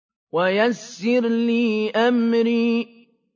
وَيَسِّرْ لِي أَمْرِي